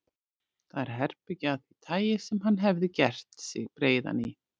Það er herbergi af því tagi sem hann hefði gert sig breiðan í.